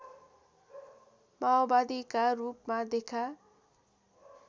माओवादीका रूपमा देखा